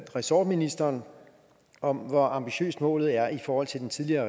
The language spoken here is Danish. ressortministeren om hvor ambitiøs målet er i forhold til den tidligere